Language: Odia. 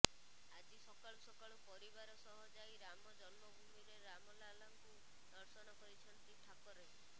ଆଜି ସକାଳୁ ସକାଳୁ ପରିବାର ସହ ଯାଇ ରାମ ଜନ୍ମଭୂମିରେ ରାମଲାଲାଙ୍କୁ ଦର୍ଶନ କରିଛନ୍ତି ଠାକରେ